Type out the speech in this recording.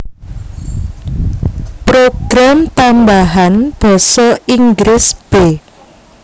Program Tambahan Basa Inggris b